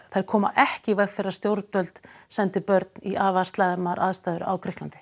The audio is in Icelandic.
þær koma ekki í veg fyrir að stjórnvöld sendi börn í afar slæmar aðstæður i Grikklandi